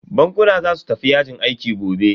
Bankuna za su tafi yajin aiki gobe.